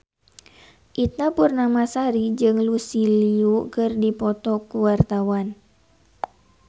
Ita Purnamasari jeung Lucy Liu keur dipoto ku wartawan